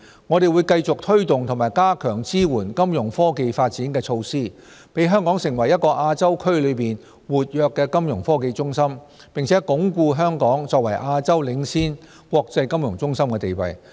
我們會繼續推動和加強支援金融科技發展的措施，讓香港成為一個亞洲區內活躍的金融科技中心，並鞏固香港作為亞洲領先國際金融中心的地位。